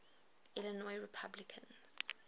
illinois republicans